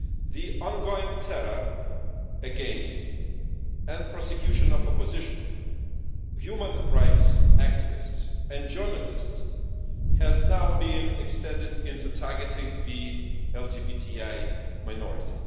The ongoing terror against and prosecution of opposition, human rights activists and journalists has now been extended into targeting the LGBTI minority.